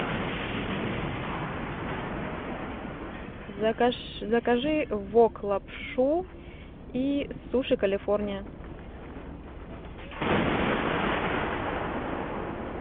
закажи вок лапшу и суши калифорния